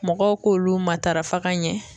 Mɔgɔw k'olu matarafa ka ɲɛ.